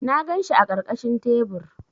Na ganshi a ƙarƙashin tebur.